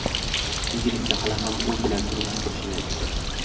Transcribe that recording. Yigit esa hali ham u bilan turmush qurish niyatida .